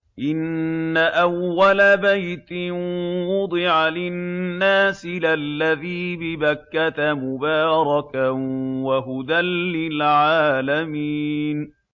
إِنَّ أَوَّلَ بَيْتٍ وُضِعَ لِلنَّاسِ لَلَّذِي بِبَكَّةَ مُبَارَكًا وَهُدًى لِّلْعَالَمِينَ